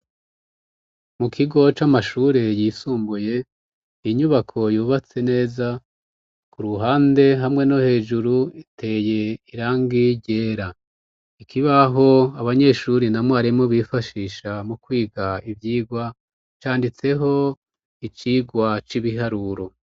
Mu kigo c'amashure yisumbuye, inyubako yubatse neza, ku ruhande hamwe no hejuru iteye irangi ryera, ikibaho abanyeshure na mwarimu bifashisha mu kwiga ivyigwa, canditseho icigwa c'ibiharuro.